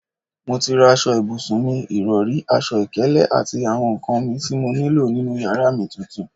Mo ti rà aṣọ ibùsùn mi, ìrọri, aṣọ ìkélé àti àwọn nkan mì tí mo nílò nínú yàrá mi titun